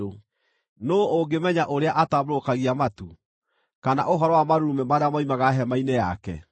Nũũ ũngĩmenya ũrĩa atambũrũkagia matu, kana ũhoro wa marurumĩ marĩa moimaga hema-inĩ yake?